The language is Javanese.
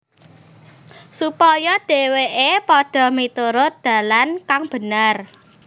Supaya dhèwèké padha miturut dalan kang bener